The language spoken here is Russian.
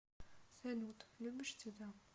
салют любишь цвета